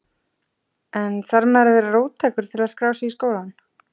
En þarf maður að vera róttækur til að skrá sig í skólann?